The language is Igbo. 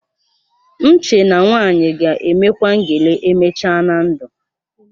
M chee na nwaanyị ga-emekwa ngele emechaa na ndụ